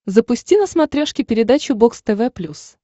запусти на смотрешке передачу бокс тв плюс